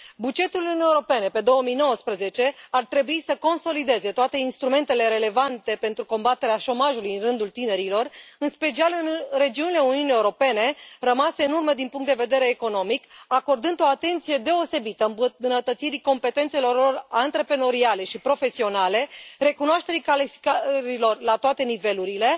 Bugetul Uniunii Europene pe 2019 ar trebui să consolideze toate instrumentele relevante pentru combaterea șomajului în rândul tinerilor, în special în regiunile Uniunii Europene rămase în urmă din punct de vedere economic, acordând o atenție deosebită îmbunătățirii competențelor antreprenoriale și profesionale, recunoașterii calificărilor la toate nivelurile